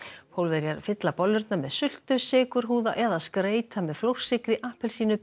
Pólverjar fylla bollurnar með sultu eða skreyta með flórsykri appelsínuberki